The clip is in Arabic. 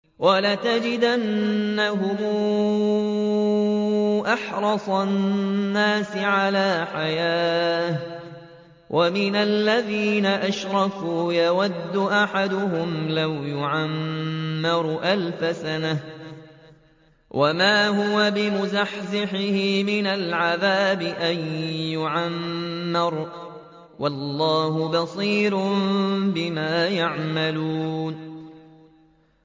وَلَتَجِدَنَّهُمْ أَحْرَصَ النَّاسِ عَلَىٰ حَيَاةٍ وَمِنَ الَّذِينَ أَشْرَكُوا ۚ يَوَدُّ أَحَدُهُمْ لَوْ يُعَمَّرُ أَلْفَ سَنَةٍ وَمَا هُوَ بِمُزَحْزِحِهِ مِنَ الْعَذَابِ أَن يُعَمَّرَ ۗ وَاللَّهُ بَصِيرٌ بِمَا يَعْمَلُونَ